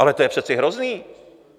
Ale to je přece hrozný.